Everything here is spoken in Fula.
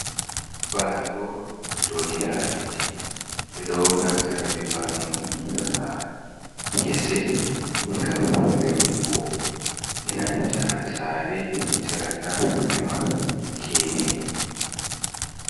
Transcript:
Baano ɗo joɗi ha leddi, ɓe ɗo naftira ɓe baano ni ha ngese ngam remugo, e nanta saare chiraka rema gene.